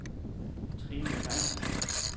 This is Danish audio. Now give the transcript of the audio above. Trine Johannessen